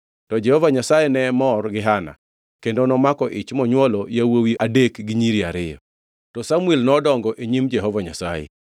To Jehova Nyasaye ne mor gi Hana; kendo nomako ich monywolo yawuowi adek gi nyiri ariyo. To Samuel nodongo e nyim Jehova Nyasaye.